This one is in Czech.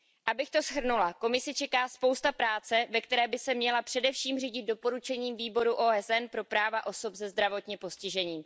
Abych to shrnula, Komisi čeká spousta práce, ve které by se měla především řídit doporučeními Výboru OSN pro práva osob se zdravotním postižením.